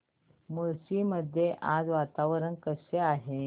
मुळशी मध्ये आज वातावरण कसे आहे